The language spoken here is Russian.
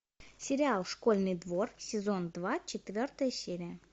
сериал школьный двор сезон два четвертая серия